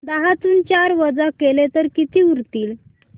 दहातून चार वजा केले तर किती उरतील